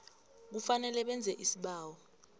kufanele benze isibawo